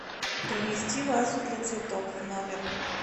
принести вазу для цветов в номер